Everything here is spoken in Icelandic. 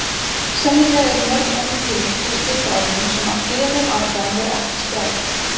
Sennilega eru mörg önnur tilvik frá stríðsárunum sem af skiljanlegum ástæðum voru ekki skráð.